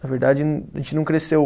Na verdade, a gente não cresceu.